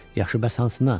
Yaxşı, Passpartu.